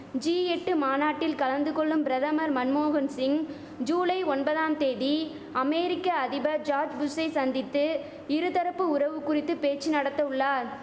G எட்டு மாநாட்டில் கலந்துகொள்ளும் பிரதமர் மன்மோகன் சிங் ஜூலை ஒன்பதாம் தேதி அமெரிக்க அதிபர் ஜார்ஜ் புஷ்சை சந்தித்து இருதரப்பு உறவு குறித்து பேச்சு நடத்த உள்ளார்